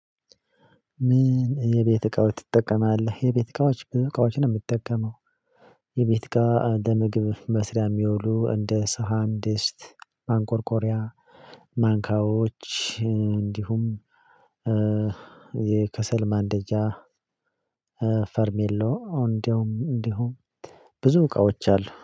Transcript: ምን የቤት እቃዎች ትጠቀማለህ? የቤት እቃዎች ብዙ እቃዎች ነው ምጠቀመው። የቤት እቃ ለምግብ መስሪያ ሚያውሉ እንደ ሳሃን ድስት ማንቆርቆሪያ ማንካዎች እንዲሁም የከሰል ማንደጃ ፌርሜሎ አወ እንዲሁም እንዲሁም ብዙ እውቃዎች አሉ